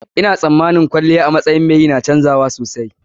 Ina tsammanin kwalliya a matsayin mai yi yana canji sosai.